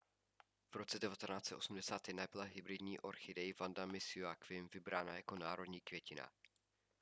v roce 1981 byla hybridní orchidej vanda miss joaquim vybrána jako národní květina